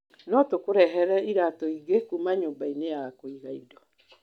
No tũkũrehere iratũ ingĩ kuuma nyũmba-inĩ ya kũiga indo.